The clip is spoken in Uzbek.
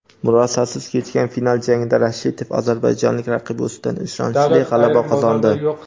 Murosasiz kechgan final jangida Rashitov ozarbayjonlik raqibi ustidan ishonchli g‘alaba qozondi.